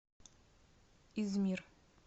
измир